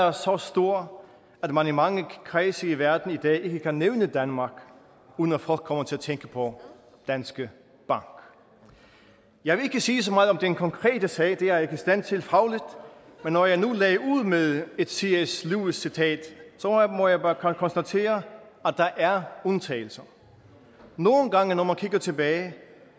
er så stor at man i mange kredse i verden i dag ikke kan nævne danmark uden at folk kommer til at tænke på danske bank jeg vil ikke sige så meget om den konkrete sag det er i stand til fagligt men når jeg nu lagde ud med et cs lewis citat må jeg bare konstatere at der er undtagelser nogle gange når man kigger tilbage